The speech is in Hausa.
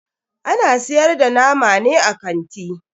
Ana siyar da nama ne a kanti?